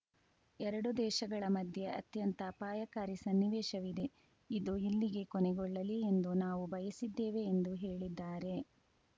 ಎರಡು ದೇಶಗಳ ಮಧ್ಯೆ ಅತ್ಯಂತ ಅಪಾಯಕಾರಿ ಸನ್ನಿವೇಶವಿದೆ ಇದು ಇಲ್ಲಿಗೇ ಕೊನೆಗೊಳ್ಳಲಿ ಎಂದು ನಾವು ಬಯಸಿದ್ದೇವೆ ಎಂದು ಹೇಳಿದ್ದಾರೆ